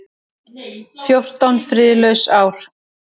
Fjórtán friðlaus ár.